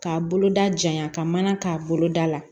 K'a boloda janya ka mana k'a boloda la